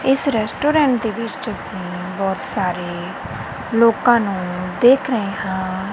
ਇੱਸ ਰੈਸਟੋਰੈਂਟ ਦੇ ਵਿੱਚ ਅੱਸੀਂ ਬੋਹਤ ਸਾਰੇ ਲੋਕਾਂ ਨੂੰ ਦੇਖ ਰਹੇ ਹਾਂ। ਇੱਸ ਰੈਸਟੋਰੈਂਟ ਦੇ ਵਿੱਚ ਅੱਸੀਂ ਬੋਹਤ ਸਾਰੇ ਲੋਕਾਂ ਨੂੰ ਦੇਖ ਰਹੇ ਹਾਂ।